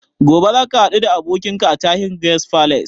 Gobe za ka haɗu da abokinka a Tahir Guest Palace?